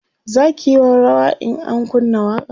zaki yi rawa in an kunna waƙa